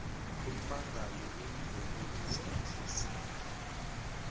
ummangali uyidominis litis